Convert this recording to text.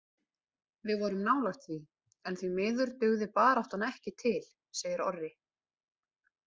Við vorum nálægt því en því miður dugði baráttan ekki til segir Orri.